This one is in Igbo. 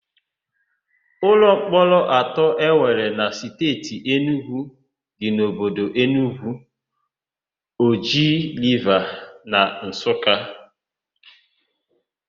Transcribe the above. Ụlọmkpọrọ atọ e nwere na Steeti Enugwu dị n'obodo Enugwu, Oji Riva na Nsụka.